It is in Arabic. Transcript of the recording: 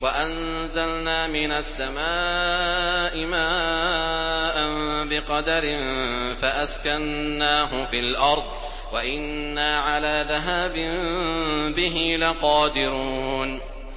وَأَنزَلْنَا مِنَ السَّمَاءِ مَاءً بِقَدَرٍ فَأَسْكَنَّاهُ فِي الْأَرْضِ ۖ وَإِنَّا عَلَىٰ ذَهَابٍ بِهِ لَقَادِرُونَ